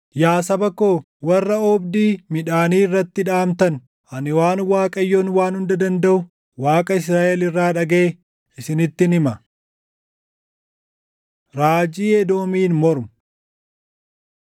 Yaa saba koo warra oobdii midhaanii irratti dhaʼamtan, ani waan Waaqayyoon Waan Hunda Dandaʼu, Waaqa Israaʼel irraa dhagaʼe isinittin hima. Raajii Edoomiin mormu